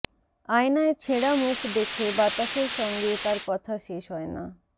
আয়নায় ছেঁড়া মুখ দেখে বাতাসের সঙ্গে তার কথা শেষ হয় না